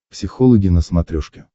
психологи на смотрешке